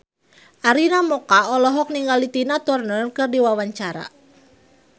Arina Mocca olohok ningali Tina Turner keur diwawancara